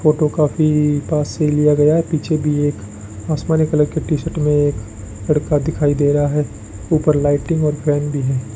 Photo काफी पास से लिया गया है पीछे भी एक आसमानी कलर की टी शर्ट में एक लड़का दिखाई दे रहा है ऊपर लाइटिंग और फैन भी है।